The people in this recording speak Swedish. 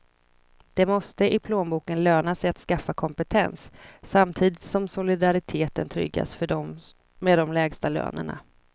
Det måste i plånboken löna sig att skaffa kompetens, samtidigt som solidariteten tryggas för dem med de lägsta lönerna.